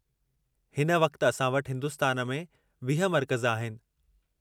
हिन वक़्ति असां वटि हिन्दुस्तान में 20 मर्कज़ आहिनि।